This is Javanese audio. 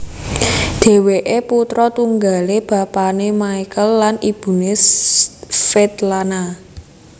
Dhèwèké putra tunggalé bapané Michael lan ibuné Svetlana